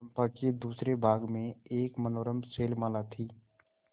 चंपा के दूसरे भाग में एक मनोरम शैलमाला थी